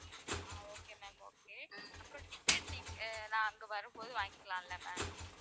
okay ma'am okay அப்பறம் ticket நீங்க~ நாங்க நான் அங்க வரும்போது வாங்கிக்கலாம்ல.